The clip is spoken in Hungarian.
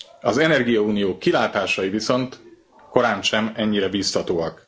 Az energiaunió kilátásai viszont korántsem ennyire bíztatóak.